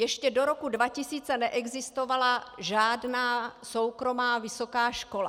Ještě do roku 2000 neexistovala žádná soukromá vysoká škola.